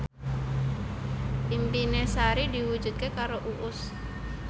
impine Sari diwujudke karo Uus